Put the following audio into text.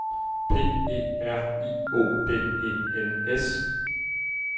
P E R I O D E N S